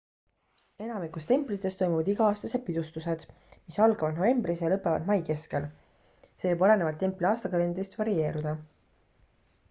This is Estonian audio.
enamikus templitest toimuvad iga-aastased pidustused mis algavad novembris ja lõpevad mai keskel see võib olenevalt templi aastakalendrist varieeruda